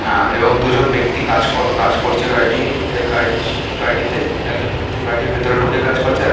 এ এবং দুজন ব্যাক্তি কাজ করছে গাড়িটি গাড়িটি গাড়িটিতে একজন ব্যাক্তি গাড়িটি ভিতরে ঢুকে কাজ করছে। আরেক--